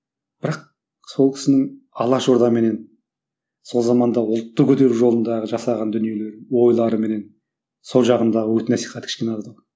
бірақ сол кісінің алаш ордаменен сол замандағы ұлтты көтеру жолындағы жасаған дүниелері ойларыменен сол жағындағы үгіт насихат кішкене аздау